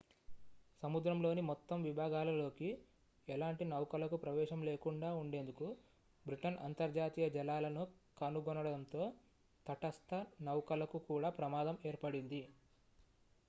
సముద్రంలోని మొత్తం విభాగాలలోకి ఎలాంటి నౌకలకు ప్రవేశం లేకుండా ఉండేందుకు బ్రిటన్ అంతర్జాతీయ జలాలను కనుగొనడంతో తటస్థ నౌకలకు కూడా ప్రమాదం ఏర్పడింది